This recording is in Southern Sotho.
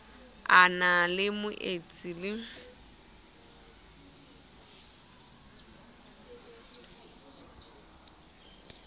a na le moetsi le